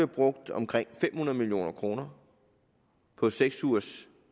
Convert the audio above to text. brugt omkring fem hundrede million kroner på seks ugers